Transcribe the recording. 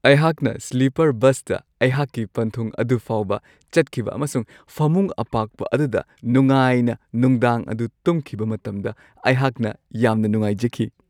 ꯑꯩꯍꯥꯛꯅ ꯁ꯭ꯂꯤꯄꯔ ꯕꯁꯇ ꯑꯩꯍꯥꯛꯀꯤ ꯄꯟꯊꯨꯡ ꯑꯗꯨ ꯐꯥꯎꯕ ꯆꯠꯈꯤꯕ ꯑꯃꯁꯨꯡ ꯐꯃꯨꯡ ꯑꯄꯥꯛꯄ ꯑꯗꯨꯗ ꯅꯨꯡꯉꯥꯏꯅ ꯅꯨꯡꯗꯥꯡ ꯑꯗꯨ ꯇꯨꯝꯈꯤꯕ ꯃꯇꯝꯗ ꯑꯩꯍꯥꯛꯅ ꯌꯥꯝꯅ ꯅꯨꯡꯉꯥꯏꯖꯈꯤ ꯫